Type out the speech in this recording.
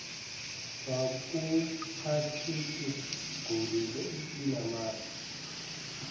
kwakungachitheka gula linamasi